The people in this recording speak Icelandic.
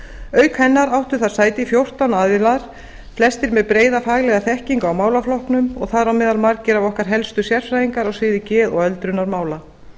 auk hennar áttu þar sæti fjórtán aðilar flestir með breiða faglega þekkingu á málaflokknum og þar á meðal margir okkar helstu sérfræðingar á sviði geð og öldrunarmála